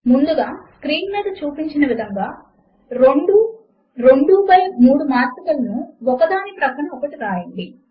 ముందుగా స్క్రీన్ మీద చూపిన విధముగా రెండు 2 బై 3 మాత్రికలను ఒకదాని ప్రక్కన ఒకటి వ్రాయండి